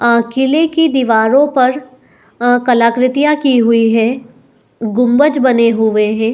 आ किले की दीवारों पर अ कला कृतियाँ की हुई हैं गुम्बज बने हुए हैं।